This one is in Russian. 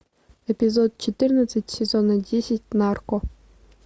эпизод четырнадцать сезона десять нарко